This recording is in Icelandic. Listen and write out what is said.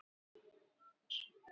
Evgenía, hvaða stoppistöð er næst mér?